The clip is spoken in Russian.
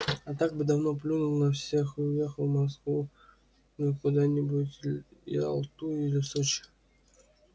а так бы давно плюнул на все уехал в москвы куда-нибудь в ялту или в сочи